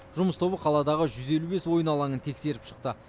жұмыс тобы қаладағы жүз елу бес ойын алаңын тексеріп шықты